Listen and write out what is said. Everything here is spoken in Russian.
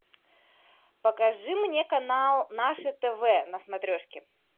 покажи мне канал наше тв на смотрешке